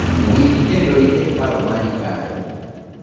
Winj kendo iket paro mari kae!